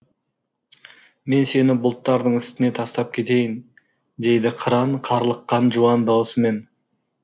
мен сені бұлттардың үстіне тастап кетейін дейді қыран қарлыққан жуан даусымен